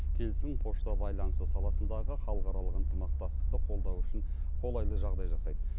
келісім пошта байланысы саласындағы халықаралық ынтымақтастықты қолдау үшін қолайлы жағдай жасайды